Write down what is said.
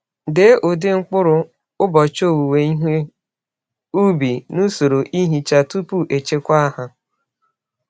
Dee ụdị mkpụrụ, ụbọchị owuwe ihe ubi, na usoro ihicha tupu echekwa ha.